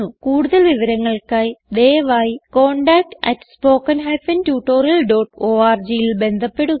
കൂടുതൽ വിവരങ്ങൾക്കായി ദയവായി contactspoken tutorialorgൽ ബന്ധപ്പെടുക